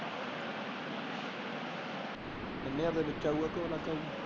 ਵਿੱਚ ਆਊਗਾ ਕੇ ਅਲੱਗ ਆਉ।